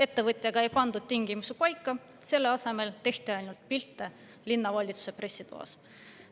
Ettevõtjaga ei pandud tingimusi paika, selle asemel tehti ainult pilte linnavalitsuse pressitoas.